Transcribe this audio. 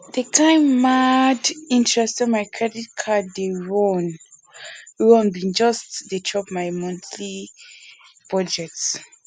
di kain mad interest wey my credit card dey run run bin just dey chop my monthly budget